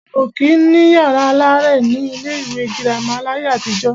A ò kí ń ní yàrá aláàrẹ̀ ní ilé ìwé girama láyé àtijọ́.